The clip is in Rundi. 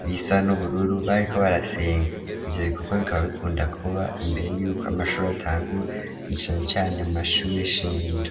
ibisa n'ubururu bariko barasenga ivyo bikorwa bikaba bikunda kuba imbere yuko amashuri atangura mwicanu cane mu mashuri eshingiro.